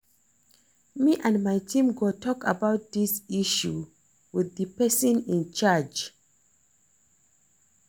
Me and my team go talk about dis issue with the person in charge